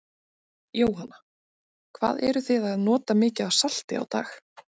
Jóhanna: Hvað eruð þið að nota mikið af salti á dag?